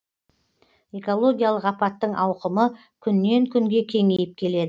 экологиялық апаттың ауқымы күннен күнге кеңейіп келеді